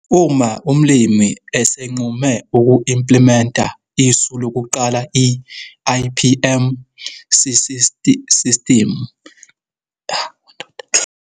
Uma umlimi esenqume uku-implimenta isu lokuqala i-IPM sisistimu.